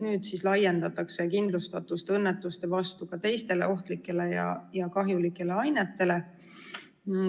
Nüüd laiendatakse kindlustatust õnnetuste puhul ka teistele ohtlikele ja kahjulikele ainetele.